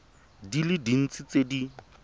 di le dintsi tse di